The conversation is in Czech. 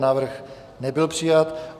Návrh nebyl přijat.